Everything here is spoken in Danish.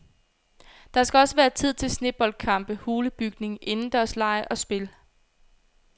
Der skal også være tid til sneboldkampe, hulebygning, indendørslege og spil.